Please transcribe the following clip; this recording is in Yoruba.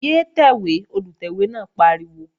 Yé tẹ̀wé! Olùtẹ̀wé náà pariwo